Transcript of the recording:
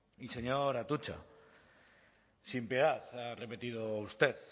y señor atutxa sin piedad ha repetido usted